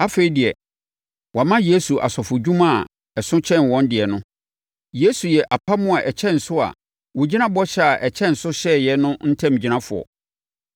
Afei deɛ, wɔama Yesu asɔfodwuma a ɛso kyɛn wɔn deɛ no. Yesu yɛ apam a ɛkyɛn so a wɔgyina bɔhyɛ a ɛkyɛn so so hyɛeɛ no ntamgyinafoɔ.